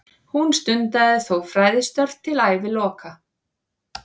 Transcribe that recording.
Hún stundaði þó fræðistörf til æviloka.